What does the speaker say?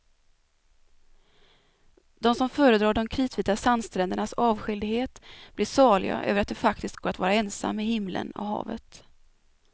De som föredrar de kritvita sandsträndernas avskildhet blir saliga över att det faktiskt går att vara ensam med himlen och havet.